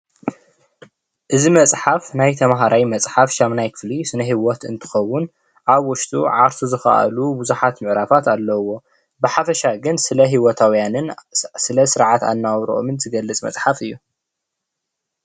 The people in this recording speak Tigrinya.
እዚ መፅሓፍ ናይ ተምሃራይ መፅሓፍ 8ይ ክፍሊ ስነ ህይወት እንትኸኸዉን ኣብ ዉሽጡ ዓርሱ ዝከኣሉ ብዙሓት ምዕራፋት ኣለዉዎ። ብሓፈሻ ግን ስለ ሂወታውያንን ስርዓት ኣነባብርኦምን ዝገልፅ መፅሓፍ እዩ።